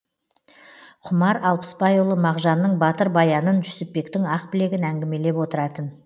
құмар алпысбайұлы мағжанның батыр баянын жүсіпбектің ақбілегін әңгімелеп отыратын